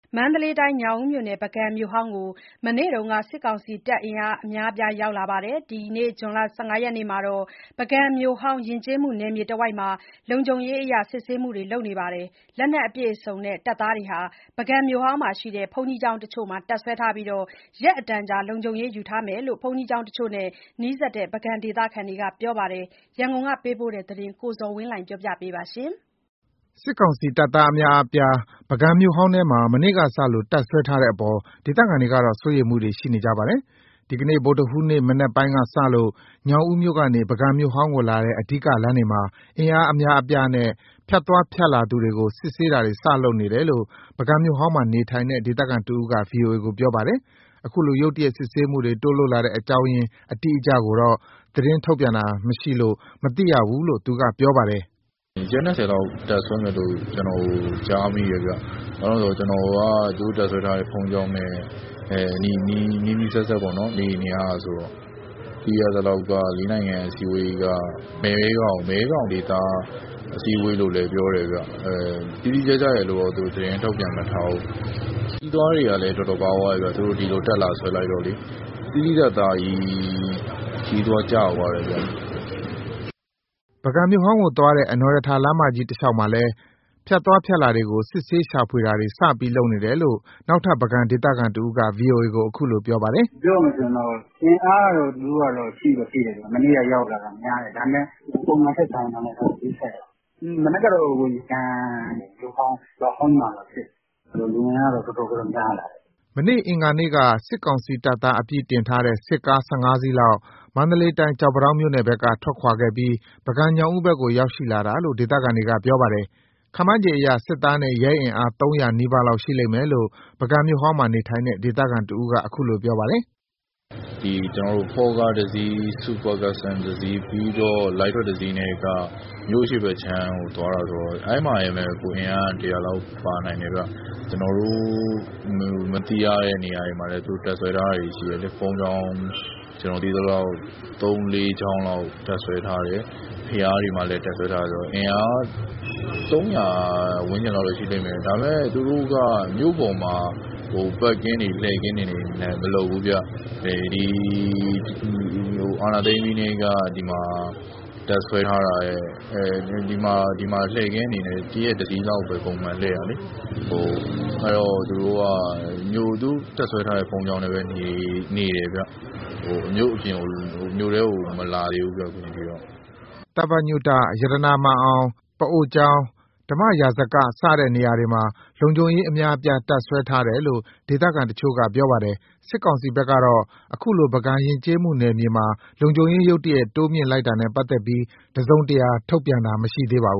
မန္တလေးတိုင်း၊ ညောင်ဦးမြို့နယ် ပုဂံမြို့ဟောင်းကို မနေ့က စစ်ကောင်စီတပ်အင်အား အများအပြားရောက်လာပြီး ဒီနေ့ ဇွန်လ ၁၅ ရက်မှာတော့ ပုဂံမြို့ဟောင်း ယဉ်ကျေးမှုနယ်မြေတဝိုက်မှာ လုံခြုံရေး စစ်ဆေးတာတွေ စပြီးလုပ်နေတယ် လို့ ဒေသခံတွေကပြောပါတယ်။ လက်နက်အပြည့်အစုံနဲ့တပ်သားတွေက ပုဂံမြို့ဟောင်းမှာရှိတဲ့ ဘုန်းကြီးကျောင်းတချို့မှာ တပ်စွဲထားပြီး ရက်အတန်ကြာ လုံခြုံရေး ယူထားမယ်လို့လည်း ဘုန်းကြီးကျောင်းတချို့နဲ့နီးစပ်တဲ့ ပုဂံဒေသခံတချို့က ဗွီအိုအေကို ပြောပါတယ်။ ရန်ကုန်ကပေးပို့တဲ့ ဒီသတင်းကို ကိုဇော်ဝင်းလှိုင်က တင်ပြပေးထားပါတယ်။ စစ်ကောင်စီတပ်သားအများအပြား ပုဂံမြို့ဟောင်းထဲမှာ မနေ့ကစလို့ တပ်စွဲထားတဲ့အပေါ် ဒေသခံတွေက စိုးရိမ်နေကြပါတယ်။ ဒီနေ့ ဗုဒ္ဓဟူးနေ့မနက်ပိုင်းကစလို့ ညောင်ဦးမြို့ကနေ ပုဂံမြို့ဟောင်းကိုလာတဲ့ အဓိကလမ်းတွေမှာ အင်အားအများအပြားနဲ့ ဖြတ်သွား ဖြတ်လာသူတွေကို စပြီး စစ်ဆေးနေတယ်လို့ ပုဂံမြို့ဟောင်း ဒေသခံတဦးက ဗွီအိုအေကို ပြောပါတယ်။ အခုလို ရုတ်တရက်စစ်ဆေးမှုတွေ တိုးလုပ်တဲ့အကြောင်းရင်းအတိအကျကိုတော့ သတင်းထုတ်ပြန်တာမရှိလို့ မသိရဘူးလို့ သူကပြောပါတယ်။ "ရက် ၂၀ လောက်တပ်စွဲမယ်လို့ ကျနော်ကြားမိတယ်ဗျ။ ကျနော်က သူတို့တပ်စွဲထားတဲ့ ဘုန်းကြီးကျောင်းနဲ့ နီးနီးစပ်စပ် နေနေရတာဆိုတော့။ သိရသလောက် လေးနိုင်ငံအစည်းအဝေး မဲခေါင်ဒေသ အစည်းအဝေးလို့လည်း ပြောတယ်ဗျ။ တိတိကျကျရယ်လို့တော့ သူတို့သတင်း မထုတ်ပြန်ထားဘူး။ ခရီးသွားတွေကလည်း တော်တော်ပါးသွားတယ်ဗျ၊ သူတို့ဒီလို တပ်လာစွဲလိုက်တော့။ သိသိသာသာကြီး ခရီးသွား ကျသွားတယ်ဗျ။" ပုဂံမြို့ဟောင်းကိုသွားတဲ့ အနော်ရထာလမ်းမကြီး တလျှောက်မှာလည်း ဖြတ်သွားဖြတ်လာတွေကို စစ်ဆေးရှာဖွေတာတွေ စပြီး လုပ်နေတယ်လို့ နောက်ထပ် ပုဂံဒေသခံတဦးက ဗွီအိုအေကို အခုလို ပြောပါတယ်။ " ပြောရရင် အင်အားကတော့ သူတို့က ရှိတော့ ရှိတယ်။ မနေ့ကရောက်လာတာ များတယ်။ ဒါပေမယ့် ပုံမှန်ထက်စာရင် ဂရုစိုက်ရတာပေါ့။ မနက်က ပုဂံမြို့ဟောင်း၊ ရွာဟောင်းကြီးမှာတော့ စစ်တယ်။ လူအင်အားကတော့ တော်တော်တော့ များလာတယ်။" မနေ့ အင်္ဂါနေ့က စစ်ကောင်စီတပ်သား အပြည့်တင်ထားတဲ့ စစ်ကား ၁၅ စီးလောက် မန္တလေးတိုင်း၊ ကျောက်ပန်းတောင်းမြို့နယ်ဘက်က ထွက်ခွာခဲ့ပြီး ပုဂံ- ညောင်ဦးဘက်ကို ရောက်ရှိလာတာလို့ ဒေသခံတွေက ပြောပါတယ်။ ခန့်မှန်းခြေအရ စစ်သားနဲ့ ရဲအင်အား ၃၀၀ နီးပါးလောက် ရှိလိမ့်မယ်လို့ ပုဂံမြို့ဟောင်းမှာနေထိုင်တဲ့ ဒေသခံတဦးက အခုလိုပြောပါတယ်။ " FAW ကားတစီး၊ စူပါကပ်စတန်တစီး၊ ပြီးတော့ လိုက်ထရပ်တစီးက မြို့အရှေ့ ဘက်အခြမ်းကို သွားတာဆိုတော့ အဲဒီမှာတင်ပဲ အင်အားက ၁၀၀ လောက် ပါနိုင်တယ်ဗျ။ ကျနော်တို့ မသိရတဲ့နေရာတွေမှာလည်း သူတို့တပ်စွဲထားတာတွေ ရှိတယ်လေ၊ ကျနော်သိရသလောက် ဘုန်းကြီးကျောင်း သုံးလေးကျောင်းလောက် တပ်စွဲထားတယ်၊ ဘုရားတွေမှာလည်း တပ်စွဲထားတယ်။ အင်အားကတော့ ၃၀၀ ဝန်းကျင်လောက် ရှိလိမ့်မယ်။ ဒါပေမယ့် သူတို့က မြို့ပေါ်မှာ ပတ်ကင်းတွေ လှည့်ကင်းတွေနဲ့ မလုပ်ဘူးဗျ၊ အာဏာသိမ်းပြီးကတည်းက ဒီမှာ လှည့်ကင်းအနေနဲ့ တရက်တစီးလောက်ပဲ ပုံမှန်လှည့်တာလေ။ အဲဒီတော့ သူတို့က သူတို့တပ်စွဲထားတဲ့ ဘုန်းကြီးကျောင်းထဲပဲနေတယ်ဗျ။ မြို့ထဲ မြို့အပြင်ကို အခုအချိန်ထိတော့ မလာသေးဘူးဗျ။" သဗ္ဗညု၊ ရတနာမာန်အောင်၊ ပအိုကျောင်း၊ ဓမ္မရာဇက စတဲ့နေရာတွေမှာ လုံခြုံရေး အများအပြားတပ်စွဲထားတယ်လို့ ဒေသခံတချို့က ပြောပါတယ်။ စစ်ကောင်စီဘက်ကတော့ အခုလို ပုဂံယဉ်ကျေးမှုနယ်မြေမှာ လုံခြုံရေး ရုတ်တရက်တိုးမြှင့်လိုက်တာနဲ့ ပတ်သက်ပြီး တစုံတရာ ထုတ်ပြန်တာမရှိသေးပါဘူ